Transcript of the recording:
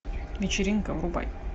вечеринка врубай